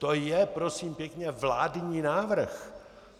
To je, prosím pěkně, vládní návrh.